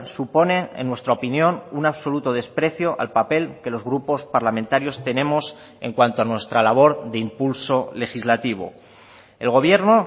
supone en nuestra opinión un absoluto desprecio al papel que los grupos parlamentarios tenemos en cuanto a nuestra labor de impulso legislativo el gobierno